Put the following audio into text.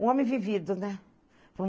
Um homem vivido, né?